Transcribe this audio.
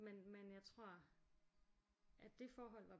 Men men jeg tror at det forhold var